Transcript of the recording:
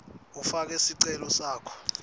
ufake sicelo sakho